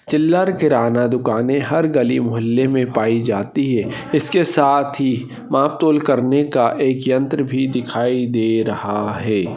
चिल्लर किराना दुकाने हर गली मोहल्ले मे पाई जाती है इसके साथ ही मापतोल करने का एक यंत्र भी दिखाई दे रहा है।